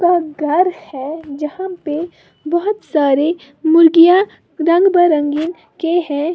और घर है जहां पे बहोत सारे मुर्गियां रंग बिरंगे के हैं।